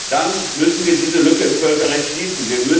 Dann müssen wir diese Lücke im Völkerrecht schließen.